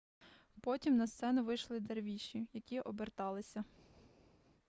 потім на сцену вийшли дервіші які оберталися